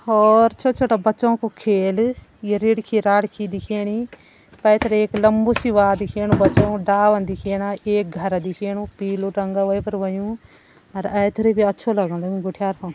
और छोटा-छोटा बच्चो कु खेल दिख्याणी पैथर एक लम्बू सी वा दिख्याणु बच्चो डाला दिख्याणा एक घर दिख्याणु पीलू वै पर हुंयु और ऐथेर भी अच्छू लगणु घुटियार --